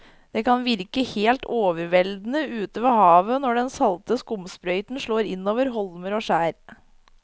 Det kan virke helt overveldende ute ved havet når den salte skumsprøyten slår innover holmer og skjær.